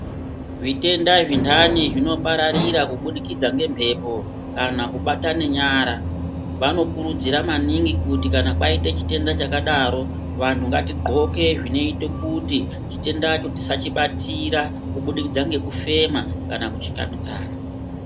Zvitenda zvindani zvino pararira kubudikidza nge mhepo kana kubatane nyara vano kurudzira maningi kuti kana kwaite chitenda chakadaro vanhu ngati ndxoke zvinoite kuti chitenda cho tisa chibatira kubudikidza nge kufema kana ku chingamidza.